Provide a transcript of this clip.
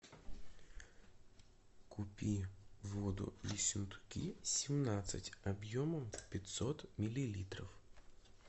купи воду ессентуки семнадцать объемом пятьсот миллилитров